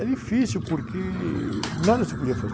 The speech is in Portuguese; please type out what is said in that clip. É difícil porque nada se podia fazer.